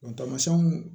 tamasiɲɛnw